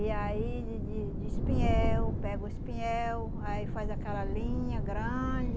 E aí de de de espinhel, pega o espinhel, aí faz aquela linha grande,